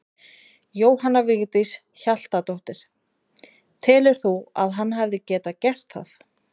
Jóhanna Vigdís Hjaltadóttir: Telur þú að hann hefði getað gert það?